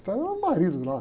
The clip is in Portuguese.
Estéril era o marido lá.